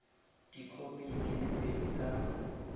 dikhopi di le pedi tsa